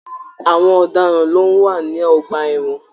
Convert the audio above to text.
Àwọn ọdaràn ló n wà ní ọgbà ẹwọn.